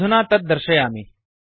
अधुना तत् दर्शयामि